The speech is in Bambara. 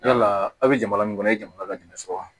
Yala aw bɛ jamana min kɔnɔ a ye jamana ladamuni sɔrɔ wa